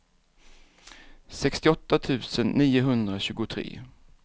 sextioåtta tusen niohundratjugotre